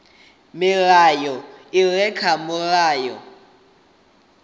milayo i re kha mulayo